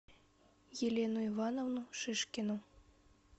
елену ивановну шишкину